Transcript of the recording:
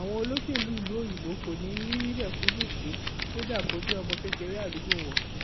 àwọn olóṣèlú ìlú òyìnbó kò ní í rí mẹkúnnú fín kódà kó jẹ ọmọ kékeré àdúgbò wọn